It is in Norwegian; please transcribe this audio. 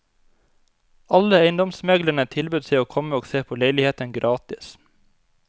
Alle eiendomsmeglerne tilbød seg å komme og se på leiligheten gratis.